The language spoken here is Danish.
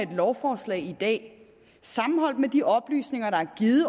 her lovforslag i dag sammenholdt med de oplysninger der er givet